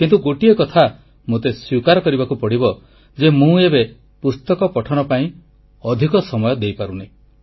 କିନ୍ତୁ ଗୋଟିଏ କଥା ମୋତେ ସ୍ୱୀକାର କରିବାକୁ ପଡ଼ିବ ଯେ ଏବେ ମୁଁ ପୁସ୍ତକ ପଠନ ପାଇଁ ଅଧିକ ସମୟ ଦେଇପାରୁନି